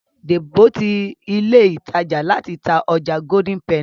Debo tí ní ilé ìtàjà láti tá ọjà Golden penny.